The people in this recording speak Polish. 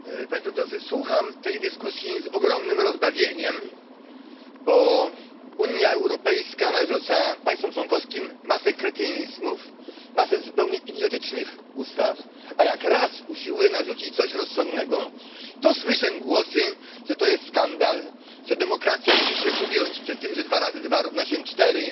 Panie Przewodniczący! Słucham tej dyskusji z ogromnym rozbawieniem, bo Unia Europejska narzuca państwom członkowskim masę kretynizmów, masę zupełnie idiotycznych ustaw, a jak raz usiłuje narzucić coś rozsądnego, to słyszę głosy, że to jest skandal, że demokracja musi się ugiąć przed tym, że dwa razy dwa równa się cztery.